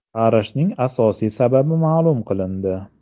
Qarishning asosiy sababi ma’lum qilindi.